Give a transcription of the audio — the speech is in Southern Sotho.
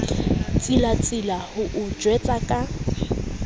tsilatsila ho o jwetsa ka